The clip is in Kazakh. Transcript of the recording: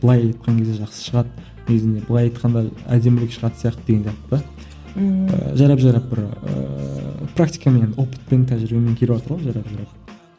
былай айтқан кезде жақсы шығады негізінде былай айтқанда әдемірек шағатын сияқты дегенде бірақ ммм ыыы жайлап жайлап бір ііі практикамен опытпен тәжірибемен келіватыр ғой жайлап жайлап